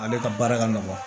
Ale ka baara ka nɔgɔ